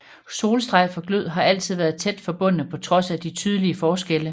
Solstrejf og Glød har altid været tæt forbundne på trods af de tydelige forskelle